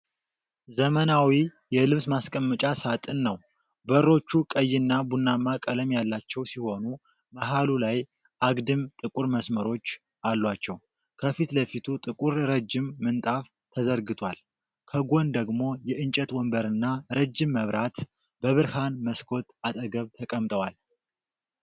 ዘመናዊ የልብስ ማስቀመጫ ሳጥን ነው። በሮቹ ቀይና ቡናማ ቀለም ያላቸው ሲሆኑ መሃሉ ላይ አግድም ጥቁር መስመሮች አሏቸው። ከፊት ለፊቱ ጥቁር ረጅም ምንጣፍ ተዘርግቷል። ከጎን ደግሞ የእንጨት ወንበርና ረጅም መብራት በብርሃን መስኮት አጠገብ ተቀምጠዋል።